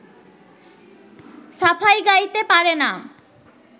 সাফাই গাইতে পারে না